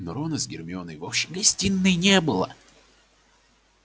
но рона с гермионой в общей гостиной не было